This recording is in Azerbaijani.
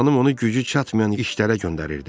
Xanım onu gücü çatmayan işlərə göndərirdi.